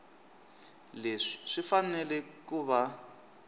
leswi swi fanele ku va